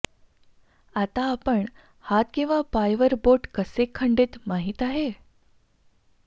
आता आपण हात किंवा पाय वर बोट कसे खंडित माहीत आहे